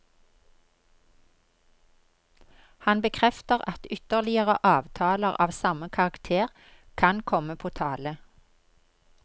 Han bekrefter at ytterligere avtaler av samme karakter kan komme på tale.